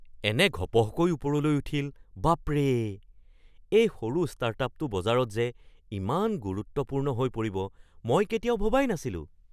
এনে ঘপহকৈ ওপৰলৈ উঠিল, বাপৰে! এই সৰু ষ্টাৰ্টআপটো বজাৰত যে ইমান গুৰুত্বপূৰ্ণ হৈ পৰিব মই কেতিয়াও ভবাই নাছিলো।